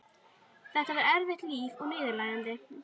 Þetta var erfitt líf og niðurlægjandi.